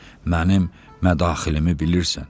Mənim mədaxilimi bilirsən.